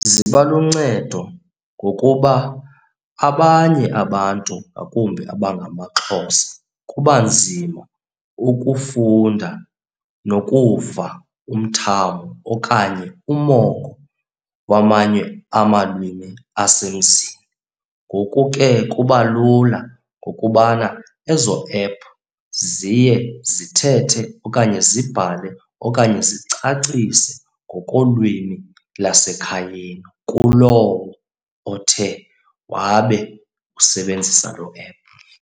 Ziba luncedo ngokuba abanye abantu ngakumbi abangamaXhosa kuba nzima ukufunda nokuva umthamo okanye umongo wamanye amalwimi asemzini. Ngoku ke kuba lula ngokubana ezo ephu ziye zithethe okanye zibhale okanye zicacise ngokolwimi lasekhayeni kulowo othe wabe usebenzisa loo ephu.